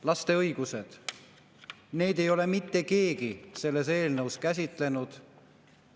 Laste õigusi ei ole mitte keegi selles eelnõus käsitlenud.